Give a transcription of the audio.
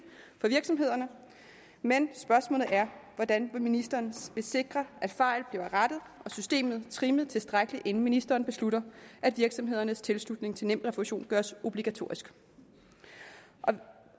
for virksomhederne men spørgsmålet er hvordan ministeren vil sikre at fejl bliver rettet og systemet trimmet tilstrækkeligt inden ministeren beslutter at virksomhedernes tilslutning til nemrefusion gøres obligatorisk